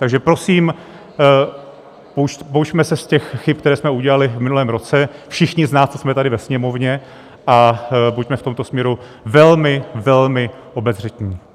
Takže prosím, poučme se z těch chyb, které jsme udělali v minulém roce, všichni z nás, co jsme tady ve Sněmovně, a buďme v tomto směru velmi, velmi obezřetní.